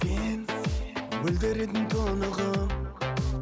сен мөлдіреген тұнығым